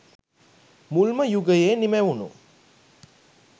මුල්ම යුගයේ නිමැවුණු